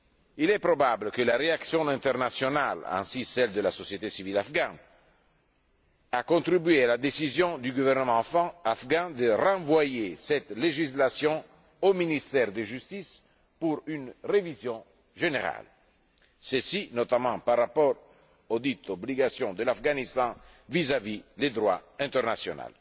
Il est probable que la réaction internationale ainsi que celle de la société civile afghane ont contribué à la décision du gouvernement afghan de renvoyer cette législation au ministère de la justice pour une révision générale, et ce notamment par rapport auxdites obligations de l'Afghanistan vis à vis du droit international.